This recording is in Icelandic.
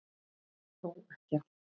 Þó ekki allt.